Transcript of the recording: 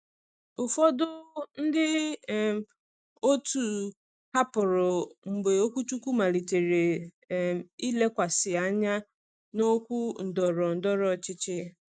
Ụfọdụ ndị um otu hapụrụ mgbe okwuchukwu malitere um ilekwasị anya na okwu ndọrọ ndọrọ ọchịchị.